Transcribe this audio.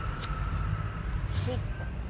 ઠીક છે.